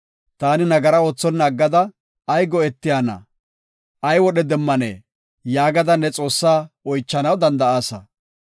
‘Taani nagaraa oothonna aggada ay go7etiyana? ay wodhe demmanee?’ yaagada ne Xoossaa oychanaw danda7aasa.